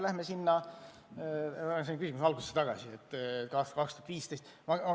Läheme küsimuse algusesse tagasi, aastasse 2015.